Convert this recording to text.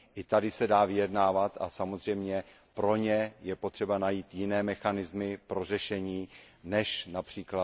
I tady se dá vyjednávat a samozřejmě pro ně je potřeba najít jiné mechanismy řešení než např.